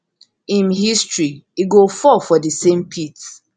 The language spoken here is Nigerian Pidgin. im history e go fall for di same pit